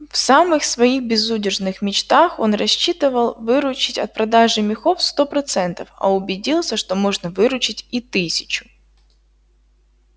в самых своих безудержных мечтах он рассчитывал выручить от продажи мехов сто процентов а убедился что можно выручить и тысячу